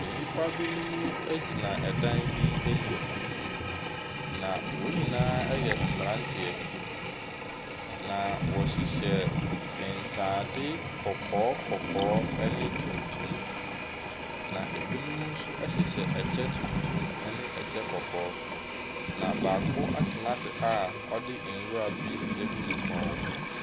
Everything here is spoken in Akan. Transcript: Nnipa binom gyina dan bi anim, na wɔn nyinaa yɛ mmeranteɛ na wɔhyehyɛ ntaade kɔkɔɔ kɔkɔɔ ne tuntum. Na binom nso hyehyɛ kyɛ tuntum ne kyɛ kɔkɔɔ, na baako atena ase a ɔde nwura bi agu ne kɔn mu.